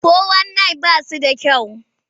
Fo-wan-nayin ba shi da kyau.